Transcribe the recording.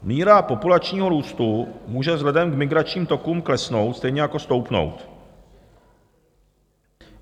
Míra populačního růstu může vzhledem k migračním tokům klesnout, stejně jako stoupnout.